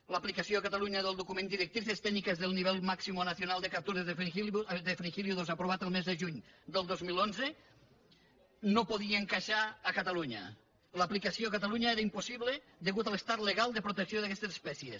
l’aplicació a catalunya del document directrices técnicas del nivel máximo nacional de capturas de fringílidos aprovat el mes de juny del dos mil onze no podia encaixar a catalunya l’aplicació catalunya era impossible a causa de l’estat legal de protecció d’aquestes espècies